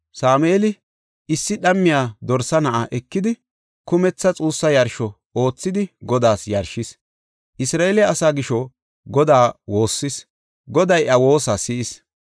Sameeli issi dhammiya dorsa na7a ekidi, kumethi xuussa yarsho oothidi Godaas yarshis; Isra7eele asaa gisho Godaa woossis; Goday iya woosa si7is.